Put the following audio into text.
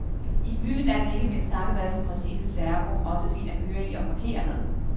I byen er den, ikke mindst takket være sin præcise servo, også fin at køre i og parkere med.